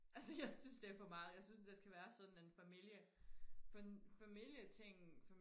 altså jeg synes det er for meget jeg synes det skal være sådan en familie familie ting